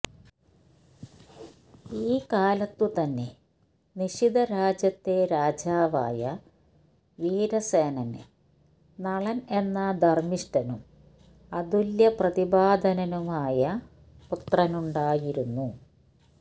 ഈ കാലത്തുതന്നെ നിഷധരാജ്യത്തെ രാജാവായ വീരസേനന് നളൻ എന്ന ധർമിഷ്ഠനും അതുല്യ പ്രതിഭാധനനുമായ പുത്രനുണ്ടായിരുന്നു